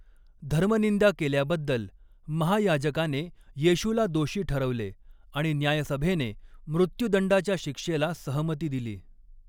धर्मनिंदा केल्याबद्दल महायाजकाने येशूला दोषी ठरवले आणि न्यायसभेने मृत्युदंडाच्या शिक्षेला सहमती दिली.